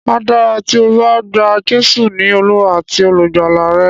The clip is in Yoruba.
Á dára tí o bá gba Jésù ní Olúwa àti olùgbàlà rẹ.